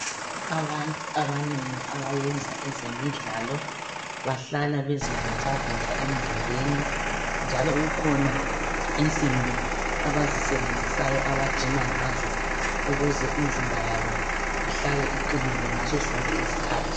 Abantu abanengi abayenza ezemidlalo bahlala bezivocavoca emzimbeni njalo kukhona insimbi abazisebenzisayo abajima ngazo ukuze imizimba yabo ihlale iqinile ngaso sonke isikhathi.